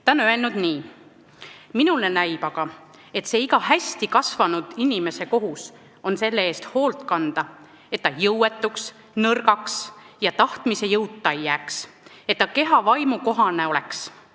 Ta on öelnud nii: "Minule näib aga, et see iga hästi kasvanud inimese kohus on selle eest hoolt kanda, et ta jõuetuks, nõrgaks ja tahtmise jõuta ei jääks, et ta keha vaimu kohane oleks!